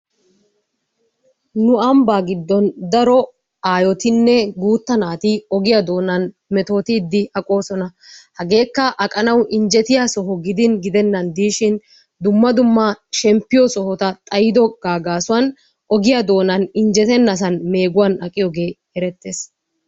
Nu ambba giddon daro aayottinne guutta naati ogiyaa doonani metotidi aqoosona. Hegekka aqanawu injettiyaa soho gidin gidenaan de'shshin dumma dumma shemppiyo sohotta xaydoogga gaasuwaan ogiyaa doonani injettena sohuwaani meeguwani aqiyooge erettes.